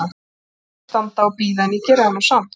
Ég var orðin þreytt að standa og bíða, en ég gerði það nú samt.